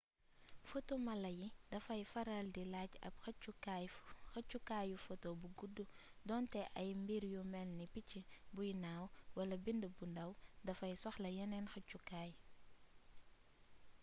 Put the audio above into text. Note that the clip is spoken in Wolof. foto mala yi dafay faral di laaj ab xëccukaayu foto bu guddu donte ay mbir yu malni picc buy naaw wala bind bu ndàw dafay soxla yeneen xëccukaay